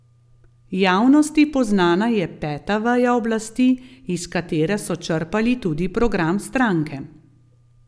Javnosti poznana je Peta veja oblasti, iz katere so črpali tudi program stranke.